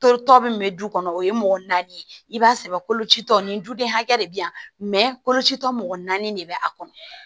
Totɔ min bɛ du kɔnɔ o ye mɔgɔ naani ye i b'a sɛbɛn kolocitɔ nin duden hakɛ de bɛ yan kolocitɔ mɔgɔ naani de bɛ a kɔnɔ